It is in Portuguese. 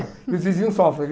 E os vizinhos sofrem, viu?